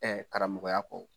Ɛ karamɔgɔya kɔ